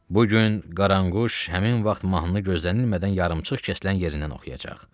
Bu gün Qaranquş həmin vaxt mahnını gözlənilmədən yarımçıq kəsilən yerindən oxuyacaq.